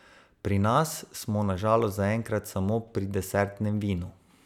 Pri nas smo na žalost zaenkrat samo pri desertnem vinu.